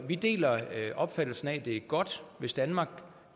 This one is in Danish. vi deler opfattelsen af at det er godt hvis danmark